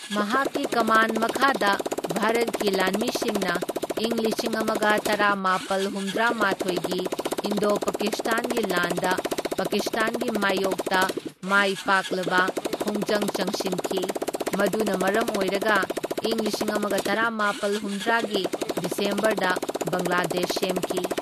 ꯃꯍꯥꯛꯀꯤ ꯀꯃꯥꯟ ꯃꯈꯥꯗ ꯚꯥꯔꯠꯀꯤ ꯂꯥꯟꯃꯤꯁꯤꯡꯅ ꯏꯪ ꯂꯤꯁꯤꯡ ꯑꯃꯒ ꯇꯔꯥꯃꯥꯄꯜ ꯍꯨꯝꯗ꯭ꯔꯥꯃꯥꯊꯣꯢꯒꯤ ꯏꯟꯗꯣ ꯄꯀꯤꯁꯇꯥꯟꯒꯤ ꯂꯥꯟꯗ ꯄꯥꯀꯤꯁꯇꯥꯟꯒꯤ ꯃꯥꯢꯌꯣꯛꯇ ꯃꯥꯏꯄꯩꯛꯂꯕ ꯈꯣꯡꯖꯪ ꯆꯪꯁꯤꯟꯈꯤ, ꯃꯗꯨꯅ ꯃꯔꯝ ꯑꯣꯏꯔꯒ ꯏꯪ ꯂꯤꯁꯤꯡ ꯑꯃꯒ ꯇꯔꯥꯃꯥꯄꯜ ꯍꯨꯝꯗ꯭ꯔꯥꯒꯤ ꯗꯤꯁꯦꯝꯕꯔꯗ ꯕꯪꯒ꯭ꯂꯥꯗꯦꯁ ꯁꯦꯝꯈꯤ꯫